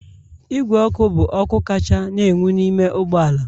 Igwe ọkụ bụ ọkụ kacha na-enwu n'ime ụgbọ ala